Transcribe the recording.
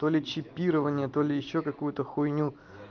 то ли чипирование то ли ещё какую-то хуйню